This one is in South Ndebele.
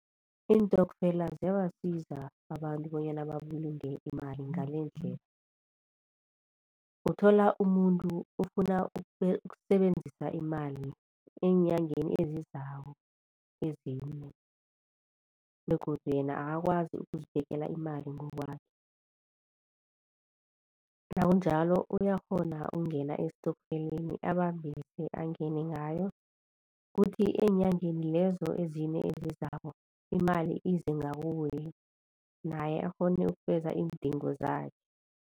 Iintokfela ziyabasiza abantu bonyana babulunge imali ngalendlela. Uthola umuntu ufuna ukusebenzisa imali eenyangeni ezizako ezimbi begodu yena akakwazi ukuzibekela imali ngokwakhe. Nakunjalo uyakghona ukungena estokfeleni abambise angene ngayo kuthi eenyangeni lezo ezine ezizako imali ize ngakuye naye akghone ukufeza iindingo zakhe.